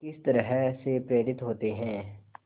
किस तरह से प्रेरित होते हैं